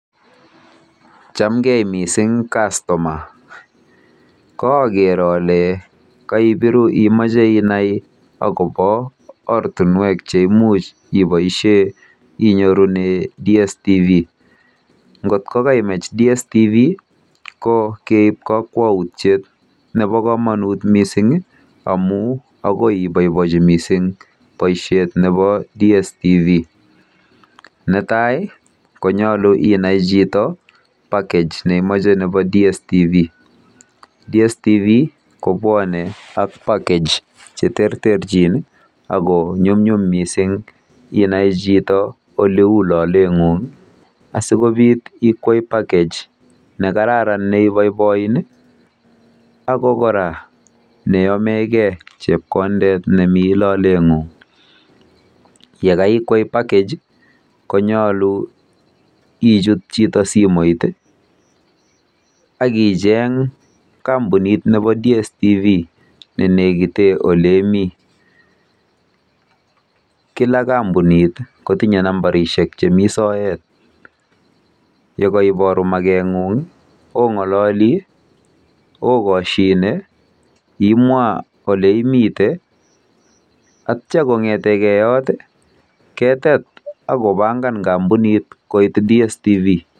Chamgei mising kastoma. Kaaker ole kaibiru imache inai akobo ortinwek cheimuch iboisie inyorune DSTV. NGOT KOKAIMACH dstv KOKEIB KAKWAUTIET NEBO KOMONUT MISING amu akoi iboibochi mising boisiet nebo DSTV. Netai konyolu inai chito package neimoche nebo DSTV.DSTV kobwone ak package cheterterchin ako nyumnyum inai chito mising oleu loletng'ung asikobit ikwei package nekararan neiboiboin ako kora neyomekei chepkondet nemi loletng'ung. Yekaikwei package konyolu ichut chito simet akicheng kampunit nebo DSTV nenekite oleimi